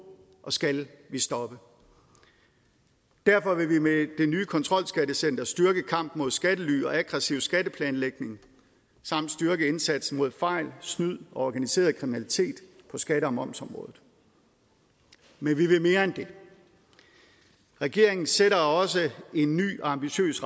og skal vi stoppe derfor vil vi med det nye kontrolskattecenter styrke kampen mod skattely og aggressiv skatteplanlægning samt styrke indsatsen mod fejl snyd og organiseret kriminalitet på skatte og momsområdet men vi vil mere end det regeringen sætter også en ny og ambitiøs